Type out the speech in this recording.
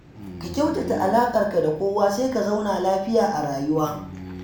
Ka kyautata alaƙarka da kowa sai ka zauna lafiya a rayuwa.